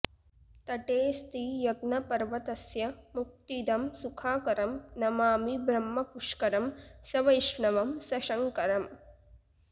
तटेस्ति यज्ञपर्वतस्य मुक्तिदं सुखाकरं नमामि ब्रह्मपुष्करं सवैष्णवं सशङ्करम्